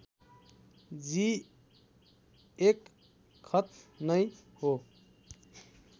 जी १ खत नै हो